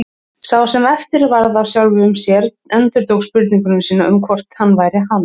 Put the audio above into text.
Sá sem eftir varð af sjálfum sér endurtók spurningu sína um hvort hann væri hann.